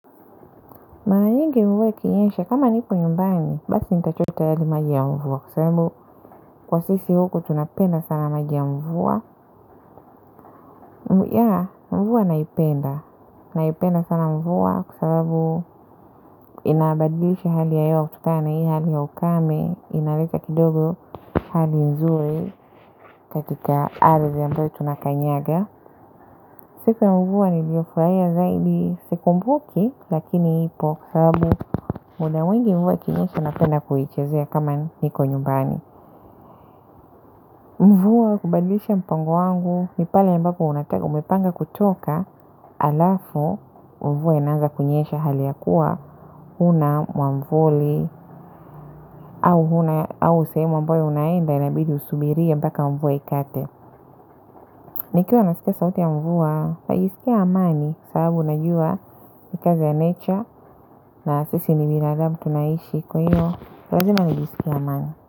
Mara nyingi mvua ikinyesha kama nipo nyumbani basi nita chota yale maji ya mvua kwasababu kwa sisi huku tunapenda sana maji ya mvua yaa mvua naipenda naipenda sana mvua kwasababu inabadilisha hali ya hewa kutokana na hii hali ya ukame inaweka kidogo hali nzuri katika ardhi ambayo tuna kanyaga sisi mvua niliofurahia zaidi sikumbuki lakini ipo sababu muda mwingi mvua ikinyesha napenda kuichezea kama niko nyumbani. Mvua hubadlisha mpango wangu nipale ambapo unataka umepanga kutoka halafu mvua inaanza kunyesha hali yakuwa huna mwamvuli au sehemu ambayo unaenda inabidi usubirie mpaka mvua ikate. Nikiwa nasikia sauti ya mvua najisikia amani sababu najua ikazi ya nature na sisi ni binadamu tunaishi kwahiyo lazima najisikie amani.